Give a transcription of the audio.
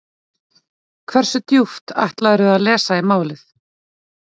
Hversu djúpt ætlarðu að lesa í málið?